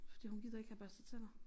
Fordi hun gider ikke have børstet tænder